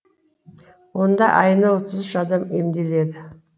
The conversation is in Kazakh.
онда айына отыз үш адам емделеді